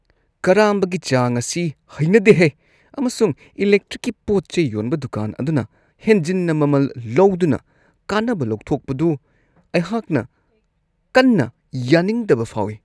ꯀꯔꯥꯝꯕꯒꯤ ꯆꯥꯡ ꯑꯁꯤ ꯍꯩꯅꯗꯦꯍꯦ, ꯑꯃꯁꯨꯡ ꯏꯂꯦꯛꯇ꯭ꯔꯤꯛꯀꯤ ꯄꯣꯠ-ꯆꯩ ꯌꯣꯟꯕ ꯗꯨꯀꯥꯟ ꯑꯗꯨꯅ ꯍꯦꯟꯖꯤꯟꯅ ꯃꯃꯜ ꯂꯧꯗꯨꯅ ꯀꯥꯟꯅꯕ ꯂꯧꯊꯣꯛꯄꯗꯨ ꯑꯩꯍꯥꯛꯅ ꯀꯟꯅ ꯌꯥꯅꯤꯡꯗꯕ ꯐꯥꯎꯋꯤ ꯫